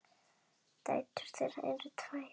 Dætur þeirra eru tvær.